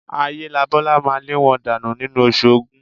Ayélabọ́lá máa lé wọn dànù nínú Oṣù Ògún